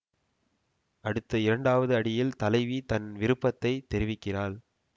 அடுத்த இரண்டாவது அடியில் தலைவி தன் விருப்பத்தை தெரிவிக்கிறாள்